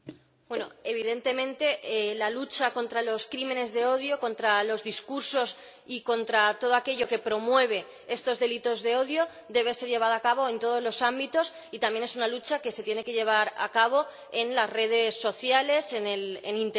Evidentemente, la lucha contra los crímenes de odio, contra los discursos y contra todo aquello que promueve estos delitos de odio debe ser llevada a cabo en todos los ámbitos y también es una lucha que se tiene que llevar a cabo en las redes sociales, en Internet.